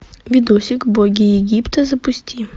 видосик боги египта запусти